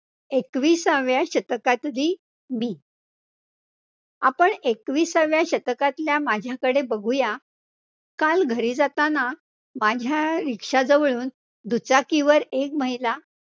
एकविसाव्या शतकातली मी, आपण एकविसाव्या शतकातल्या माझ्याकडे बघूया, काल घरी जाताना, माझ्या rikshaw जवळून दुचाकीवर एक महिला